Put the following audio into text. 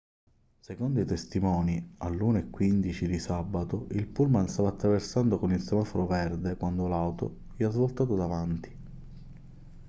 secondo i testimoni alle 1:15 di sabato il pullman stava attraversando con il semaforo verde quando l'auto gli ha svoltato davanti